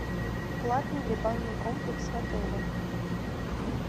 платный ли банный комплекс в отеле